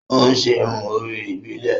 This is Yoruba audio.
O n ṣe irun orí ibilẹ